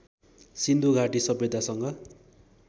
सिन्धु घाटी सभ्यतासँग